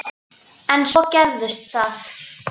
En svo gerist það.